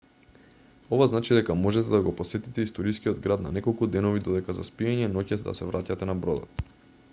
ова значи дека можете да го посетите историскиот град на неколку денови додека за спиење ноќе да се враќате на бродот